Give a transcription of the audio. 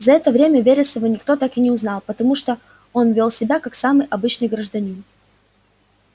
за это время вересова никто так и не узнал потому что он вёл себя как самый обычный гражданин